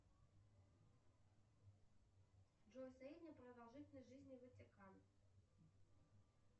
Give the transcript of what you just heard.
джой средняя продолжительность жизни ватикан